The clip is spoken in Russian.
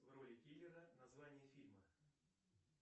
в роли киллера название фильма